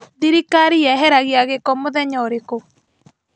Thirikari yeheragia gĩko mũthenya ũrikũ?